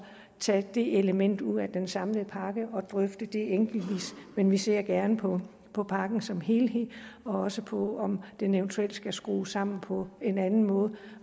tage det element ud af den samlede pakke og drøfte det enkeltvis men vi ser gerne på på pakken som helhed og også på om den eventuelt skal skrues sammen på en anden måde